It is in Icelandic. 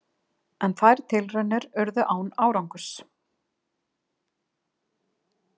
En þær tilraunir urðu án árangurs.